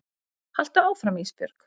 Haltu áfram Ísbjörg.